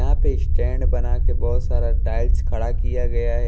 यहां पे स्टैंड बना के बहुत सारा टाइल्स खड़ा किया गया है।